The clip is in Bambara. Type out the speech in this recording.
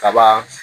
Kaba